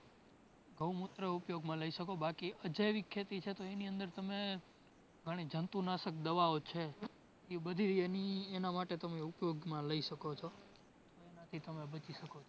ગૌમુત્ર ઉપયોગમાં લઈ શકો. બાકી અજૈવિક ખેતી છે તો એની આદર તમે ઘણી જંતુનાશક દવાઓ છે ઇ બધી એની એના માટે ઉપયોગમાં લઈ શકો છો એનાથી તમે બચી શકો છો.